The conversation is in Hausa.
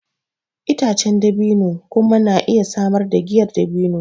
Itacen dabino kuma na iya samar da giyar dabino.